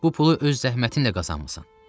Bu pulu öz zəhmətinlə qazanmısan.